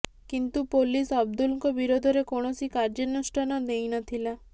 କିନ୍ତୁ ପୋଲିସ୍ ଅବଦୁଲଙ୍କ ବିରୋଧରେ କୌଣସି କାର୍ଯ୍ୟାନୁଷ୍ଠାନ ନେଇ ନଥିଲା